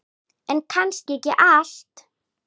En kannski ekki allt.